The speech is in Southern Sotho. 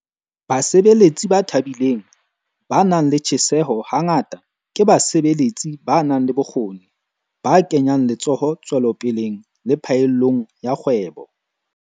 Basebeletsi ba thabileng, ba nang le tjheseho hangata ke basebeletsi ba nang le bokgoni, ba kenyang letsoho tswelopeleng le phaellong ya kgwebo.